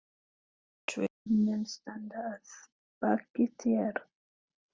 Tveir menn standa að baki þér.